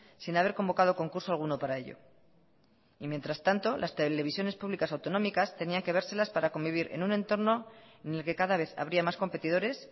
sin haber convocado concurso alguno para ello y mientras tanto las televisiones públicas autonómicas tenían que vérselas para convivir en un entorno en el que cada vez habría más competidores